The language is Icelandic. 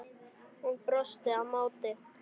Hún brosti á móti.